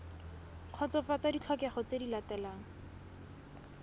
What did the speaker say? kgotsofatsa ditlhokego tse di latelang